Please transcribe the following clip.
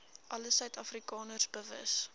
alle suidafrikaners bewus